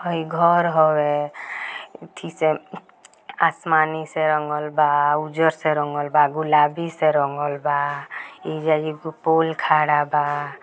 आई घर हैं आसमानी से रंगल बा उजर से रंगल बा गुलाबी से रंगल बा एजा एक पूल खड़ा बा।